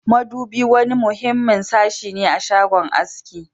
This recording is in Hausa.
Madubi wani muhimmin sashi ne a shagon aski